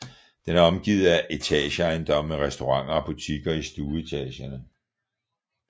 Den er omgivet af etageejendomme med restauranter og butikker i stueetagerne